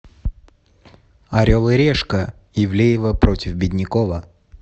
орел и решка ивлеева против беднякова